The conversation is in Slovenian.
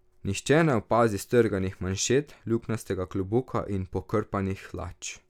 Nihče ne opazi strganih manšet, luknjastega klobuka in pokrpanih hlač.